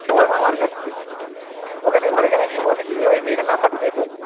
ওখানে ঘরেতে নাকি বলেছে ওই মেয়েটার number টা দে তো